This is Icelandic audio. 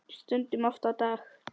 Stundum oft á dag.